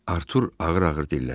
Artur ağır-ağır dilləndi.